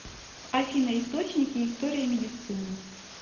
афина источники история медицины